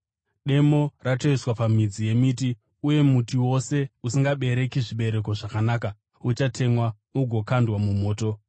Demo ratoiswa pamidzi yemiti uye muti wose usingabereki zvibereko zvakanaka uchatemwa ugokandwa mumoto.